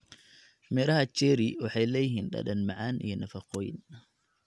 Midhaha cherry waxay leeyihiin dhadhan macaan iyo nafaqooyin.